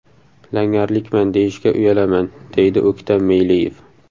Langarlikman deyishga uyalaman, deydi O‘ktam Meyliyev.